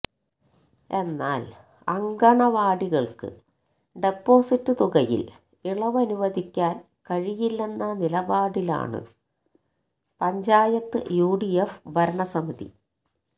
എന്നാല് അങ്കണ്വാടികള്ക്ക് ഡെപ്പോസിറ്റ് തുകയില് ഇളവനുവദിക്കാന് കഴിയില്ലെന്ന നിലപാടിലാണ് പഞ്ചായത്ത് യു ഡി എഫ് ഭരണസമിതി